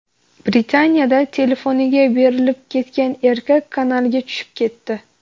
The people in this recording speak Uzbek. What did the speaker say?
Britaniyada telefoniga berilib ketgan erkak kanalga tushib ketdi .